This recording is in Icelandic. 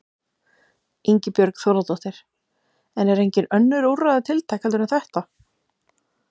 Ingibjörg Þórðardóttir: En eru engin önnur úrræði tiltæk heldur en þetta?